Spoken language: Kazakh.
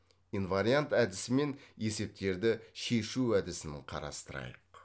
инвариант әдісімен есептерді шешу әдісін қарастырайық